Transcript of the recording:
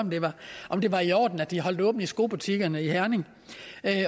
om det var i orden at de holdt åbent i skobutikkerne i herning